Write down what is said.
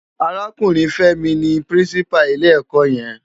Árákúrin Femi ni Pirinsipá ilé èkò yèn